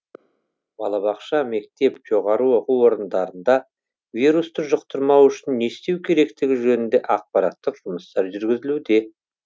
балабақша мектеп жоғары оқу орындарында вирусты жұқтырмау үшін не істеу керектігі жөнінде ақпараттық жұмыстар жүргізілуде